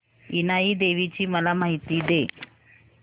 इनाई देवीची मला माहिती दे